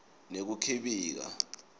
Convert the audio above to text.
nekukhibika